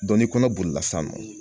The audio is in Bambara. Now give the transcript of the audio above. ni kɔnɔ bolila san nɔ